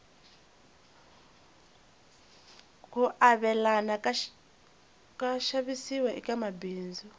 ku avelana ka xavisiwa eka mabindzu